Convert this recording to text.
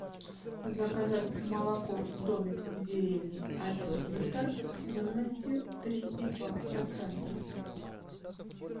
заказать молоко домик в деревне один литр жирностью три и два процента